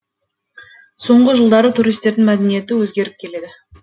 соңғы жылдары туристердің мәдениеті өзгеріп келеді